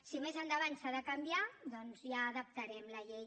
si més endavant s’ha de canviar doncs ja adaptarem la llei